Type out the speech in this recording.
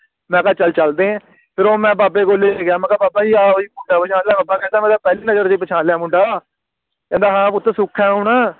ਮੈਂ ਕਿਹਾ ਚੱਲ ਚਲਦੇ ਆ ਫਿਰ ਉਹ ਮੈਂ ਬਾਬੇ ਕੋਲ ਸੀ ਲੈ ਗਿਆ ਮੈਂ ਕਿਹਾ ਬਾਬਾ ਜੀ ਆਹ ਓਹੀ ਮੁੰਡਾ ਵਾ ਬਾਬਾ ਕਹਿੰਦਾ ਮੈਂ ਤਾ ਨਜ਼ਰ ਚ ਪਹਿਚਾਣ ਲਿਆ ਮੁੰਡਾ ਕਹਿੰਦਾ ਹਾਂ ਪੁੱਤ ਸੁਖ ਹੈ ਹੁਣ